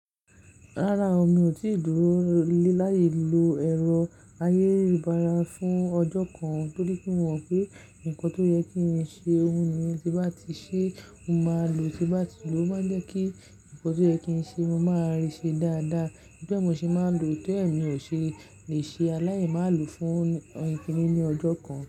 Rárá o, mi ò tíì dúró láyi lo ẹ̀rọ ayélujára fún ọjọ́ kan torí pé mo mọ̀ pé nǹkan tó yẹ kí n ṣe, ohun mi tí bá ti ṣe, mo máa lo, tí bá ti ló máa jẹ́ kí nǹkan tó yẹ kí n ṣe, mo máa rí i ṣe dáadáa. Bí mo ṣe máa ń lo, tí ó ẹ̀ mí ò ṣe lè ṣe aláyi máa lòó fún ọn ìkíni ní ọjọ́ kan.